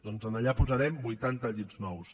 doncs allà hi posarem vuitanta llits nous